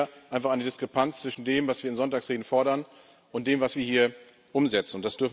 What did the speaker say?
Wir haben hier einfach eine Diskrepanz zwischen dem, was wir in Sonntagsreden fordern, und dem, was wir hier umsetzen.